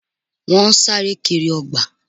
Wọ́n sáré kiri ọgbà